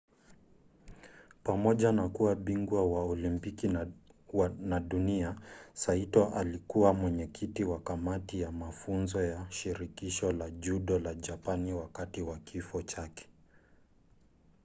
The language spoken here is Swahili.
pamoja na kuwa bingwa wa olimpiki na dunia saito alikuwa mwenyekiti wa kamati ya mafunzo ya shirikisho la judo la japani wakati wa kifo chake